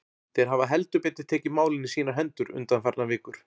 Þeir hafa heldur betur tekið málin í sínar hendur undanfarnar vikur.